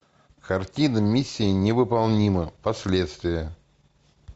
картина миссия невыполнима последствия